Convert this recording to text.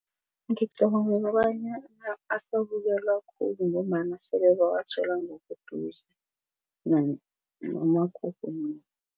Ngicabanga kobanyana asabukelwa khulu ngombana sele bawathola ngobuduze noma kukunini.